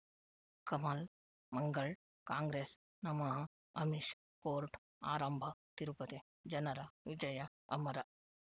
ಕಮಲ್ ಮಂಗಳ್ ಕಾಂಗ್ರೆಸ್ ನಮಃ ಅಮಿಷ್ ಕೋರ್ಟ್ ಆರಂಭ ತಿರುಪತಿ ಜನರ ವಿಜಯ ಅಮರ